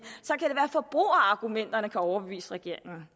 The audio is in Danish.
at at forbrugerargumenterne kan overbevise regeringen